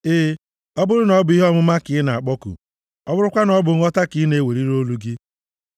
E, ọ bụrụ na ọ bụ ihe ọmụma ka ị na-akpọku, ọ bụrụkwa na ọ bụ nghọta ka ị na-eweliri olu gị,